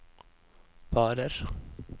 varer